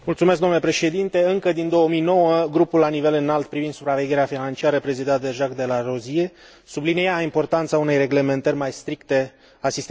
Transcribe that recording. Încă din 2009, grupul la nivel înalt privind supravegherea financiară, prezidat de Jacques de Larosière, sublinia importanța unei reglementări mai stricte a sistemul financiar.